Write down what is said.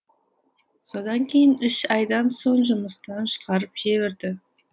содан кейін үш айдан соң жұмыстан шығарып жіберді